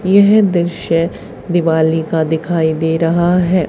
यह दृश्य दिवाली का दिखाई दे रहा है।